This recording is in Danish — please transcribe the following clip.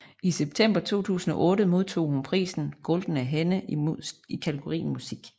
I september 2008 modtog hun prisen Goldene Henne i kategorien Musik